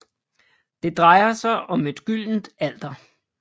Det drejer sig om et gyldent alter